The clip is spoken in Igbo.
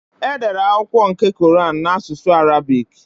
Edere akwụkwọ nke kọran n'asụsụ Arabị́c.